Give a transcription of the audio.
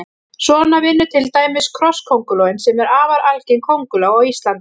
Svona vinnur til dæmis krosskóngulóin sem er afar algeng kónguló á Íslandi.